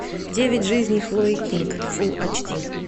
девять жизней хлои кинг фулл ач ди